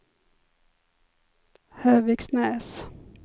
Höviksnäs